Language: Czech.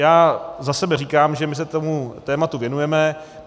Já za sebe říkám, že my se tomu tématu věnujeme.